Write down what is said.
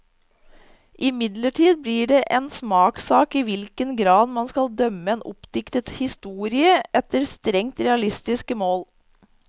Imidlertid blir det en smakssak i hvilken grad man skal dømme en oppdiktet historie efter strengt realistiske mål.